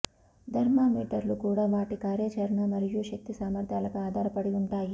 థర్మామీటర్లు కూడా వాటి కార్యాచరణ మరియు శక్తి సామర్ధ్యాలపై ఆధారపడి ఉంటాయి